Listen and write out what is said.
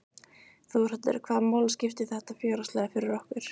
Þórhallur: Hvaða máli skiptir þetta fjárhagslega fyrir okkur?